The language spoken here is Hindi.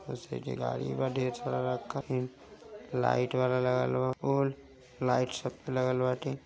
उसे साइड गाड़ी बा ढेर सारा लाइट वाला लगत बा और लाइट सबपे लगत बाटी --